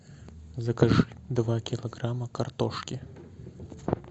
закажи два килограмма картошки